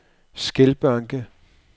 Skelbanke